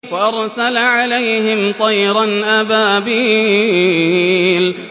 وَأَرْسَلَ عَلَيْهِمْ طَيْرًا أَبَابِيلَ